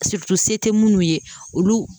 tɛ minnu ye olu